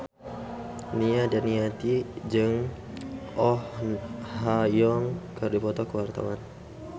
Nia Daniati jeung Oh Ha Young keur dipoto ku wartawan